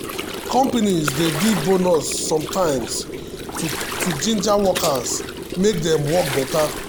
companies dey give bonus sometimes to ginger workers make dem work better.